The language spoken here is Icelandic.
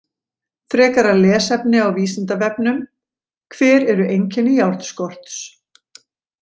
Frekara lesefni á Vísindavefnum: Hver eru einkenni járnskorts?